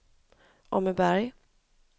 Åmmeberg